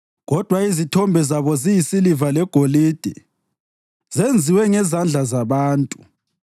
Kodwa izithombe zabo yisiliva legolide, zenziwe ngezandla zabantu.